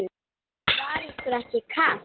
Var ykkur ekki kalt?